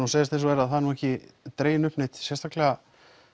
segjast eins og er að það er ekki dregin upp neitt sérstaklega